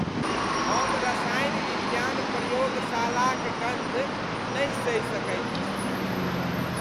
हम रसायन विज्ञान प्रयोगशालाक गन्ध नहि सहि सकैत छी।